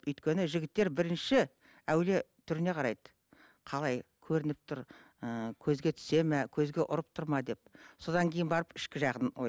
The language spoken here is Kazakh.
өйткені жігіттер бірінші әуелі түріне қарайды қалай көрініп тұр ыыы көзге түседі ме көзге ұрып тұр ма деп содан кейін барып ішкі жағын